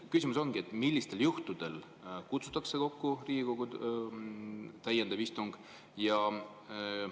Küsimus ongi: millistel juhtudel kutsutakse kokku Riigikogu täiendav istung?